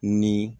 Ni